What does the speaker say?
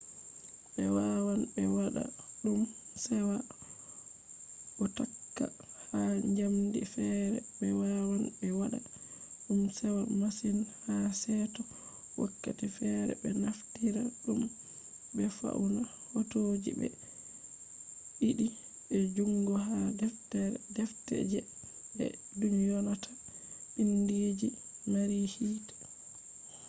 ɓe wawan be wada ɗum sewa bo takka ha njamdi feere. ɓe wawan ɓe waɗa ɗum sewa masin ha seto wakkati feere be naftira ɗum be fauna hotoji be ɗiiɗi be jungo ha defte je be dyonata biindi je mari hiite